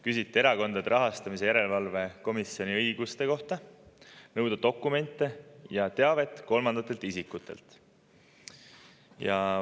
Küsiti Erakondade Rahastamise Järelevalve Komisjoni õiguste kohta nõuda dokumente ja teavet kolmandatelt isikutelt.